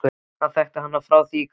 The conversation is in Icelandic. Hann þekkti hana frá því í gamla daga.